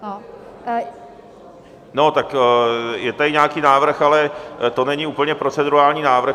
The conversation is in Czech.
No, tak je tady nějaký návrh, ale to není úplně procedurální návrh.